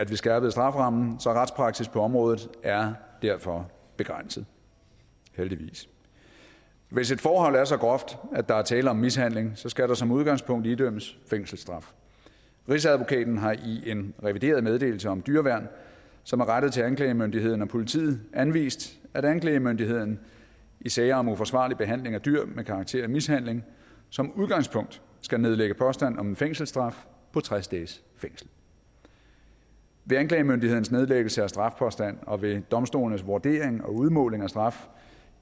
vi skærpede strafferammen så retspraksis på området er derfor begrænset heldigvis hvis et forhold er så groft at der er tale om mishandling skal der som udgangspunkt idømmes fængselsstraf rigsadvokaten har i en revideret meddelelse om dyreværn som er rettet til anklagemyndigheden og politiet anvist at anklagemyndigheden i sager om uforsvarlig behandling af dyr med karakter af mishandling som udgangspunkt skal nedlægge påstand om en fængselsstraf på tres dages fængsel ved anklagemyndighedens nedlæggelse af strafpåstand og ved domstolenes vurdering og udmåling af straf